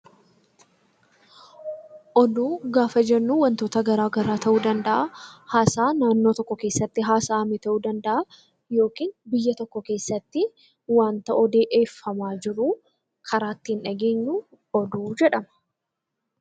Oduu gaafa jennuu, waantota addaa addaa ta'uu danda'a. Haasaa naannoo tokko keessatti haasa'ame ta'uu kan yookiin biyya tokko keessatti waanta odeeffama jiru karaa ittiin dhageenyu oduu jedhama.